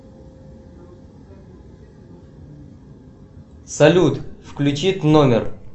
салют включи тномер